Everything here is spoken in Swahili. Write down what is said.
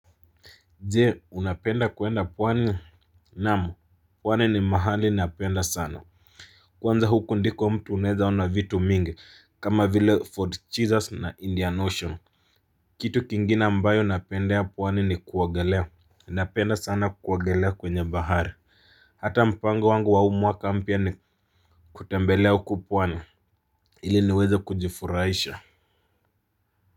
Jee unapenda kuenda pwani. Naam. Pwani ni mahali napenda sana. Kwanza huku ndiko mtu unaeza ona vitu mingi kama vile Ford Cheezers na Indian Ocean. Kitu kingine ambayo napenda ya pwani ni kuogelea. Napenda sana kuogelea kwenye bahari. Hata mpango wangu wa huu mwaka mpya ni kutembelea huku pwani ili niweze kujifurahisha.